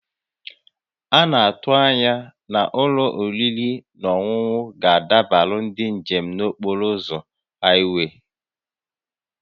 A na-atụ anya na ụlọ oriri na ọṅụṅụ ga-adabara ndị njem n'okporo ụzọ haịwee